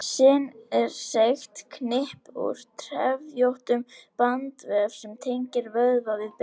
Sin er seigt knippi úr trefjóttum bandvef sem tengir vöðva við bein.